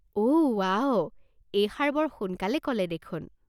অ', ৱাও, এইষাৰ বৰ সোনকালে ক'লে দেখোন!